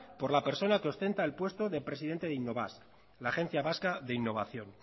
por la persona que ostenta el puesto de presidente de innobasque la agencia vasca de innovación